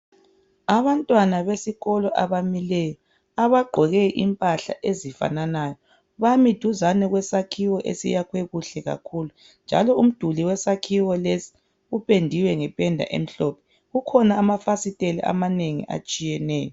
Abantwana besikolo abamileyo bagqoke okufananayo bami duzane kwesakhiwo esakhwe kuhle kakhulu njalo umdulwi wesakhiwo lesi upendiwe ngependa emhlophe kukhona amafasiteli amanengi atshiyeneyo